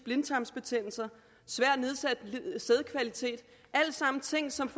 blindtarmsbetændelse og svært nedsat sædkvalitet alt sammen ting som